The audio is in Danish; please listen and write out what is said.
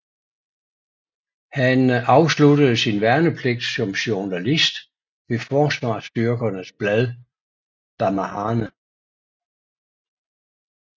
Han afsluttede sin værnepligt som journalist ved Forsvarsstyrkernes blad BaMahane